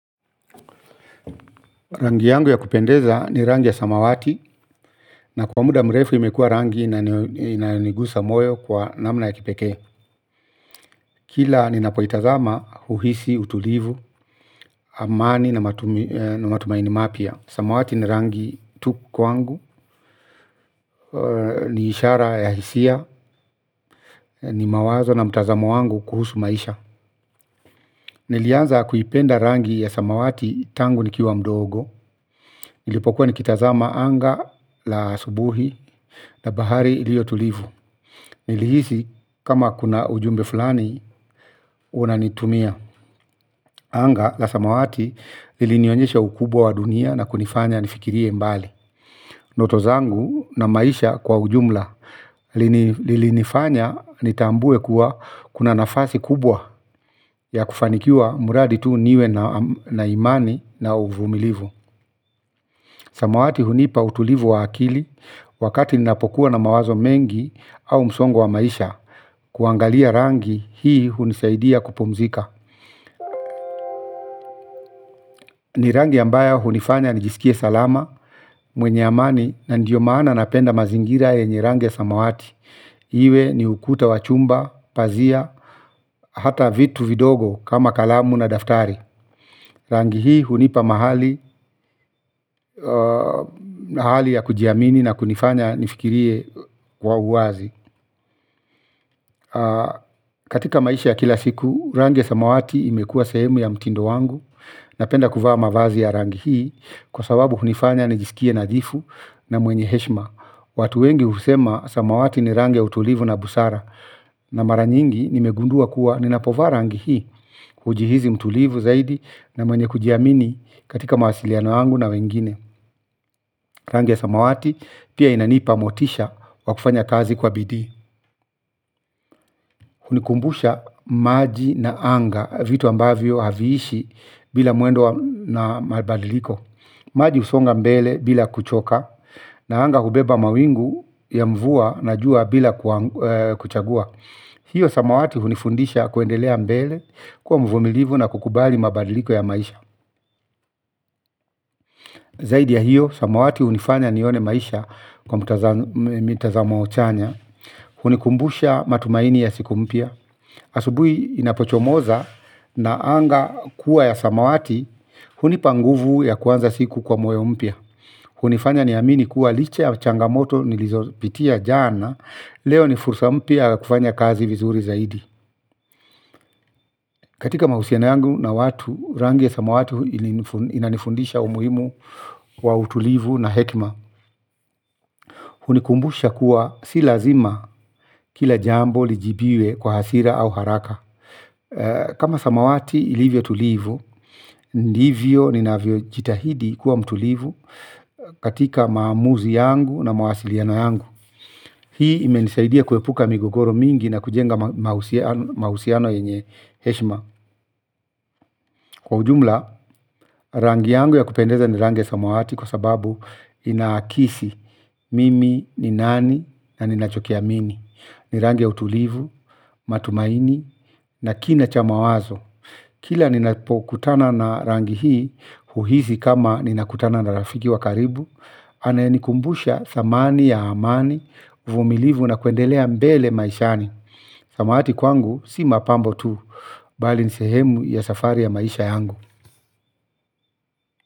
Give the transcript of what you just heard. Rangi yangu ya kupendeza ni rangi ya samawati na kwa muda mrefu imekua rangi na inayonigusa moyo kwa namna ya kipekee. Kila ninapoitazama huhisi, utulivu, amani na matumaini mapya. Samawati ni rangi tu kwangu, ni ishara ya hisia, ni mawazo na mtazamo wangu kuhusu maisha. Nilianza kuipenda rangi ya samawati tangu nikiwa mdogo. Nilipokuwa nikitazama anga la asubuhi na bahari iliyotulivu. Nilihisi kama kuna ujumbe fulani unanitumia. Anga la samawati lilinionyesha ukubwa wa dunia na kunifanya nifikirie mbali. Ndoto zangu na maisha kwa ujumla. Lilinifanya nitambue kuwa kuna nafasi kubwa ya kufanikiwa mradi tu niwe na imani na uvumilivu. Samawati hunipa utulivu wa akili wakati ninapokuwa na mawazo mengi au msongo wa maisha. Kuangalia rangi hii hunisaidia kupumzika. Ni rangi ambayo hunifanya nijisikie salama mwenye amani na ndiyo maana napenda mazingira yenye rangi ya samawati iwe ni ukuta wa chumba, pazia, hata vitu vidogo kama kalamu na daftari. Rangi hii hunipa mahali na hali kujiamini na kunifanya nifikirie kwa uwazi. Katika maisha ya kila siku, rangi ya samawati imekua sehemu ya mtindo wangu. Napenda kuvaa mavazi ya rangi hii kwa sababu hunifanya nijisikie nadhifu na mwenye heshima. Watu wengi husema samawati ni rangi ya utulivu na busara. Na mara nyingi nimegundua kuwa ninapovaa rangi hii hujihisi mtulivu zaidi na mwenye kujiamini katika mawasiliano yangu na wengine. Rangi ya samawati pia inanipa motisha wa kufanya kazi kwa bidii. Hunikumbusha maji na anga. Vitu ambavyo haviishi bila mwendo wa na mabadiliko. Maji husonga mbele bila kuchoka. Na anga hubeba mawingu ya mvua na jua bila kuchagua. Hiyo samawati hunifundisha kuendelea mbele. Kuwa mvumilivu na kukubali mabadiliko ya maisha. Zaidi ya hiyo samawati hunifanya nione maisha. Kwa mitazamo chanya. Hunikumbusha matumaini ya siku mpya. Asubui inapochomoza na anga kuwa ya samawati. Hunipa nguvu ya kuanza siku kwa moyo mpya. Hunifanya niamini kuwa licha ya changamoto nilizopitia jana. Leo ni fursa mpia ya kufanya kazi vizuri zaidi. Katika mahusiano yangu na watu rangi ya samawati inanifundisha umuhimu wa utulivu na hekima. Hunikumbusha kuwa sii lazima kila jambo lijibiwe kwa hasira au haraka. Kama samawati ilivyo tulivu. Ndivyo ninavyo jitahidi kuwa mtulivu. Katika maamuzi yangu na mawasiliano yangu. Hii imenisaidia kuepuka migogoro mingi na kujenga mahusiano yenye heshima. Kwa ujumla rangi yangu ya kupendeza ni rangi samawati kwa sababu inaakisi mimi ni nani na ninachoki amini. Ni rangi ya utulivu, matumaini na kina cha mawazo. Kila ninapokutana na rangi hii, huhisi kama ninakutana na rafiki wa karibu, anayenikumbusha thamani ya amani, uvumilivu na kuendelea mbele maishani. Samawati kwangu, si mapambo tu, bali ni sehemu ya safari ya maisha yangu.